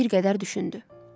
Bir qədər düşündü.